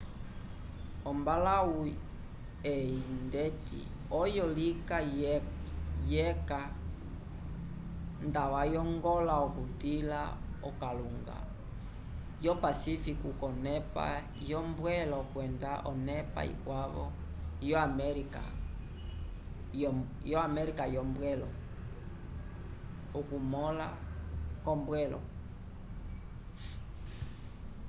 ombalãwu eyi ndeti oyo lika lyeca nda oyongola okutila okalunga yo pacífico k’onepa yombwelo kwenda onepa ikwavo yo américa yombwelo. okumõla k’ombwelo